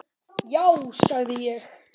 Já sagði ég.